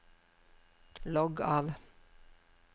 logg av